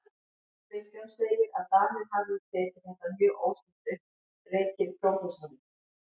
Kristján segir, að Danir hafi tekið þetta mjög óstinnt upp, rekið prófessorinn